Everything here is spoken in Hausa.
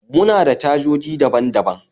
muna da cajoji daban daban